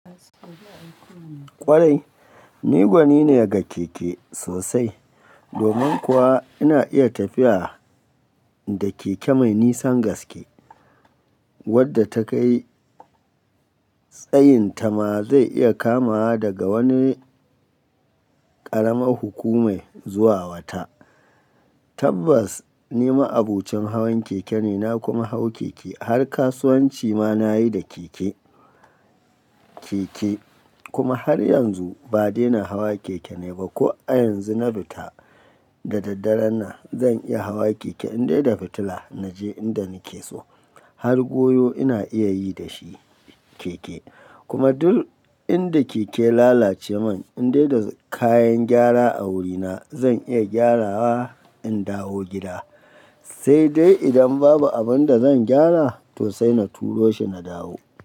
Kwarai ni gwani ne ga keke sosai. Domin kuwa ina iya tafiya da keke mai nisan gaske wadda ta kai tsayinta ma zai iya kamawa daga wani ƙaramar hukumar zuwa wata. Tabbas ni ma abocin hawan keke ne, na kuma hau keke har kasuwanci ma nayi da keke, keke kuma har yanzu ba daina hawa keke ne ba. Ko a yanzu na luta da daddare na zan iya hawa keke in dai da fitila naje inda nake so har goyo ina iya yi da shi keke. Kuma duk inda keke ya lalace man in dai da kayan gyara a wurina zan iya gyarawa in dawo gida, sai dai idan babu abin da zan gyara to sai na turo shi na dawo.